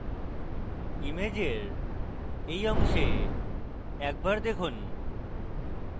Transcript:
ইমেজের এই অংশে দেখুন